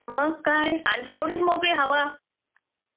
मग काय आणि तेवढीच मोकळी हवा.